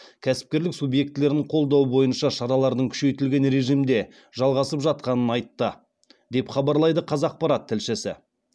кәсіпкерлік субъектілерін қолдау бойынша шаралардың күшейтілген режимде жалғасып жатқанын айтты деп хабарлайды қазақпарат тілшісі